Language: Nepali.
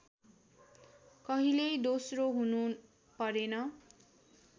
कहिल्यै दोस्रो हुनु परेन